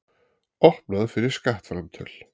Opnað fyrir skattframtöl